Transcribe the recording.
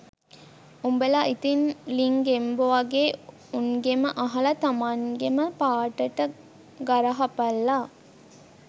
උඹල ඉතින් ලිං ගෙම්බො වගෙ උන්ගෙම අහල තමන්ගෙම පාටට ගරහපල්ලා